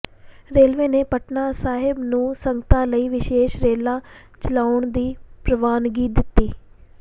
railway ਨੇ ਪਟਨਾ ਸਾਹਿਬ ਨੂੰ ਸੰਗਤਾਂ ਲਈ ਵਿਸ਼ੇਸ਼ ਰੇਲਾਂ ਚਲਾਉਣ ਦੀ ਪ੍ਰਵਾਨਗੀ ਦਿੱਤੀ